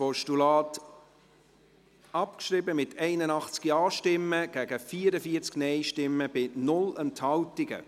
Sie haben das Postulat abgeschrieben, mit 81 Ja- gegen 44 Nein-Stimmen bei 0 Enthaltungen.